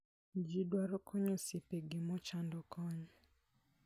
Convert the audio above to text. Ji dwaro konyo osiepegi mochando kony.